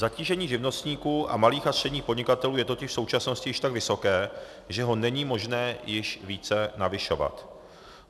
Zatížení živnostníků a malých a středních podnikatelů je totiž v současnosti již tak vysoké, že ho není možné již více navyšovat.